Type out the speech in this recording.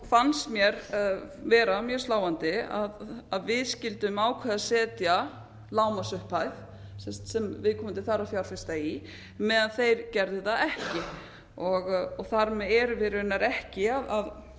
fannst mér vera mjög sláandi að við skyldum ákveða að setja lágmarksupphæð sem viðkomandi þarf að fjárfesta í meðan þeir gerðu það ekki þar með erum við raunar ekki